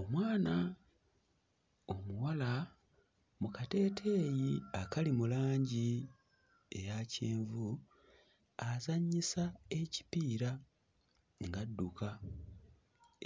Omwana omuwala mu kateeteeyi akali mu langi eya kyenvu azannyisa ekipiira ng'adduka.